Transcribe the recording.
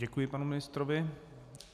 Děkuji panu ministrovi.